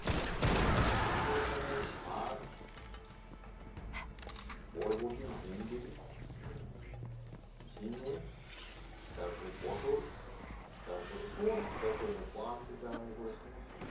আমাদের এখানে শাক বরবটি ভেন্ডি হুম? ঝিঙে তারপরে পটল তারপরে সমস্ত কিছু যত মানে পান থেকে আরম্ভ করে সমস্ত কিছু